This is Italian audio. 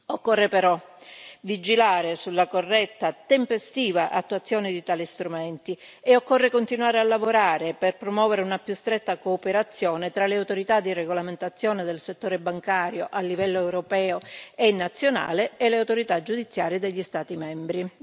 Occorre però vigilare sulla corretta e tempestiva attuazione di tali strumenti e occorre continuare a lavorare per promuovere una più stretta cooperazione tra le autorità di regolamentazione del settore bancario, a livello europeo e nazionale, e le autorità giudiziarie degli Stati membri.